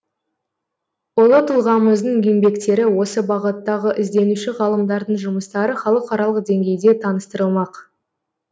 ұлы тұлғамыздың еңбектері осы бағыттағы ізденуші ғалымдардың жұмыстары халықаралық деңгейде таныстырылмақ